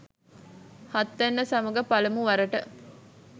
හත්වැන්න සමඟ පළමුවරට